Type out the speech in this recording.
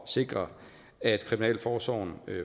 sikre at kriminalforsorgen